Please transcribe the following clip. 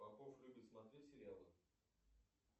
попов любит смотреть сериалы